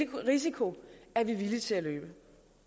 den risiko er vi villige til at løbe